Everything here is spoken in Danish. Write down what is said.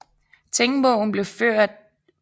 Tingbogen blev først af en tingskriver